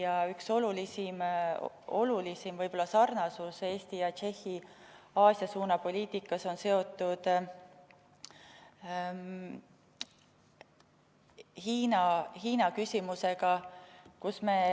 Ja üks olulisim sarnasus Eesti ja Tšehhi Aasia suuna poliitikas on seotud Hiina küsimusega.